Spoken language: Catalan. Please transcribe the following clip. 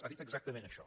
ha dit exactament això